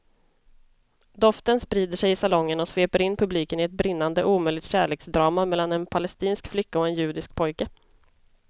Doften sprider sig i salongen och sveper in publiken i ett brinnande omöjligt kärleksdrama mellan en palestinsk flicka och en judisk pojke.